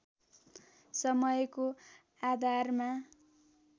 समयको आधारमा